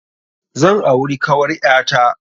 Zan auri kawar ƴa ta.